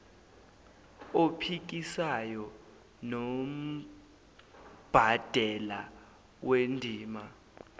ophikisayo nombandela wendima